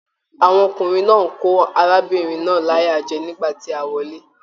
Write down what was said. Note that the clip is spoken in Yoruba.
Àwọn ọkùnrin náà ní kó arábìnrin náà láyà jẹ nígbà tí a wọle.